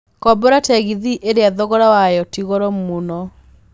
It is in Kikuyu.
kombora tegithi ĩria thogora wayo tigoro mũno